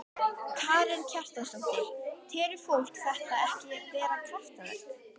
Karen Kjartansdóttir: Telur fólk þetta ekki vera kraftaverk?